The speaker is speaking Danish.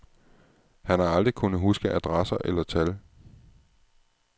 Han har aldrig kunnet huske adresser eller tal.